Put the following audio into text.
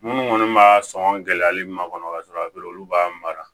Minnu kɔni b'a sɔn gɛlɛyali ma kɔnɔ ka sɔrɔ alu b'a mara